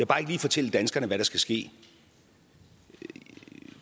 bare ikke lige fortælle danskerne hvad der skal ske